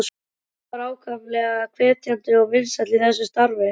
Jón var ákaflega hvetjandi og vinsæll í þessu starfi.